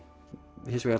hins vegar